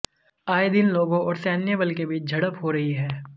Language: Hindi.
आए दिन लोगों और सैन्य बल के बीच झड़प हो रही है